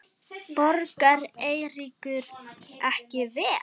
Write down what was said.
Borgar Eiríkur ekki vel?